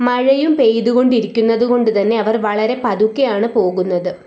മഴയും പെയ്തുകൊണ്ടിരിക്കുന്നത് കൊണ്ട് തന്നെ അവർ വളരെ പതുക്കെയാണ് പോകുന്നത്.